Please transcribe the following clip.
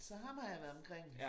Så ham har jeg været omkring